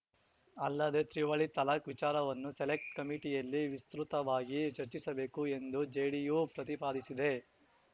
ಅಲ್ಲದೆ ತ್ರಿವಳಿ ತಲಾಖ್‌ ವಿಚಾರವನ್ನು ಸೆಲೆಕ್ಟ್ ಕಮಿಟಿಯಲ್ಲಿ ವಿಸ್ತೃತವಾಗಿ ಚರ್ಚಿಸಬೇಕು ಎಂದು ಜೆಡಿಯು ಪ್ರತಿಪಾದಿಸಿದೆ